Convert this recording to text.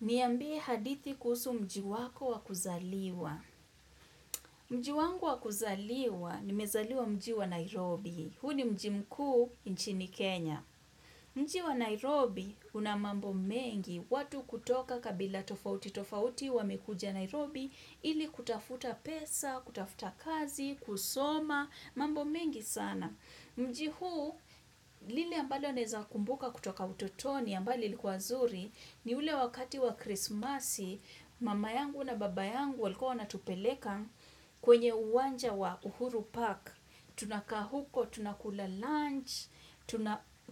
Niambie hadithi kuhusu mji wako wa kuzaliwa. Mji wangu wakuzaliwa ni mezaliwa mji wa Nairobi. Huni mji mkuu nchini Kenya. Mji wa Nairobi una mambo mengi watu kutoka kabila tofauti. Tofauti wamekuja Nairobi ili kutafuta pesa, kutafuta kazi, kusoma, mambo mengi sana. Mji huu lili ambalo neza kumbuka kutoka utotoni ambali likuazuri ni ule wakati wa krismasi Mama yangu na baba yangu waliko wana tupeleka kwenye uwanja wa uhuru Park. Tunaka huko, tunakula lunch,